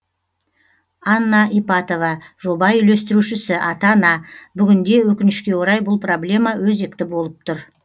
анна ипатова жоба үйлестірушісі ата ана бүгінде өкінішке орай бұл проблема өзекті болып тұр